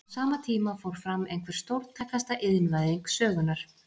Á sama tíma fór fram einhver stórtækasta iðnvæðing sögunnar.